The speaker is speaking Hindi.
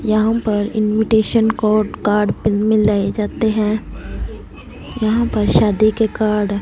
यहां पर इन्विटेशन कोड कार्ड पिल मिलाये जाते हैं यहां पर शादी के कार्ड --